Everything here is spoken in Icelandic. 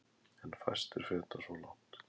En fæstir feta svo langt.